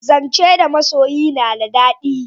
Zance da masoyi na da dadi